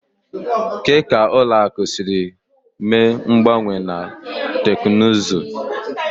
Kedu ka ụlọ akụ siri mee mgbanwe na teknụzụ?